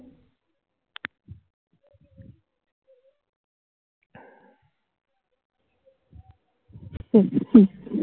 হম হম